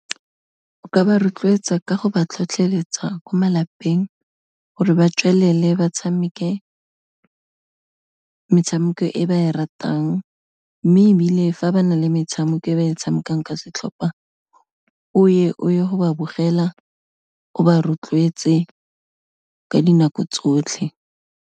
O ka ba rotloetsa ka go ba tlhotlheletsa ko malapeng, gore ba tswelele ba tshameke metshameko e ba e ratang, mme ebile fa ba na le metshameko e ba e tshamekang ka setlhopa o ye, o ye go ba bogela, o ba rotloetse ka dinako tsotlhe.